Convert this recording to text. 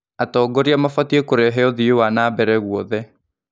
Atongoria mabatiĩ kũrehe ũthii wa na mbere gwothe.